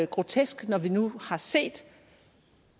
grotesk når vi nu har set